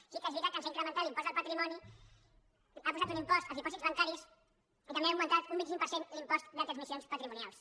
sí que és veritat que ens ha incrementat l’impost del patrimoni que ha posat un impost als dipòsits bancaris i també que ha augmentat un vint cinc per cent l’impost de transmissions patrimonials